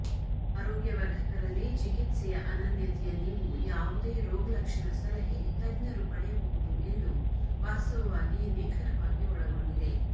ಆರೋಗ್ಯವರ್ಧಕ ರಲ್ಲಿ ಚಿಕಿತ್ಸೆಯ ಅನನ್ಯತೆಯ ನೀವು ಯಾವುದೇ ರೋಗಲಕ್ಷಣ ಸಲಹೆ ತಜ್ಞರು ಪಡೆಯಬಹುದು ಎಂದು ವಾಸ್ತವವಾಗಿ ನಿಖರವಾಗಿ ಒಳಗೊಂಡಿದೆ